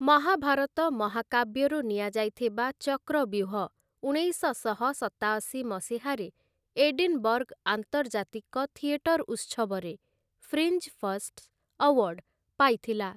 ମହାଭାରତ ମହାକାବ୍ୟରୁ ନିଆଯାଇଥିବା ଚକ୍ରବ୍ୟୁହ ଉଣେଇଶଶହ ସତାଅଶି ମସିହାରେ 'ଏଡିନ୍‌ବର୍ଗ୍‌ ଆନ୍ତର୍ଜାତିକ ଥିଏଟର ଉତ୍ସବ'ରେ 'ଫ୍ରିଞ୍ଜ ଫର୍ଷ୍ଟ୍‌ସ୍‌ ଆୱାର୍ଡ଼୍‌' ପାଇଥିଲା ।